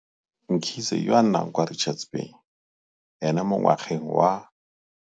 Mkhize, yo a nnang kwa Richards Bay, ene mo ngwageng wa.